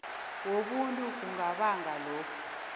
wobuntu kungabanga lokhu